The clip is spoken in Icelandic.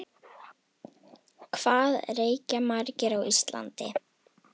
Hvað reykja margir á Íslandi?